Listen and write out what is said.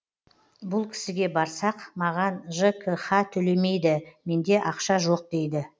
бұл кісіге барсақ маған жкх төлемейді менде ақша жоқ дейді